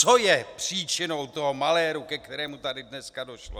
Co je příčinou toho maléru, ke kterému tady dneska došlo?